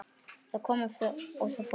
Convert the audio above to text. Það kom og það fór.